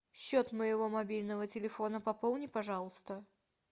счет моего мобильного телефона пополни пожалуйста